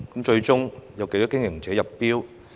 最終有多少經營者入標呢？